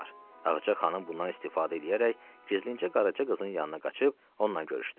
Ağca xanım bundan istifadə eləyərək gizlincə Qaraca qızın yanına qaçıb onunla görüşdü.